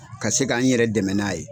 Ka se ka n yɛrɛ dɛmɛ n'a ye.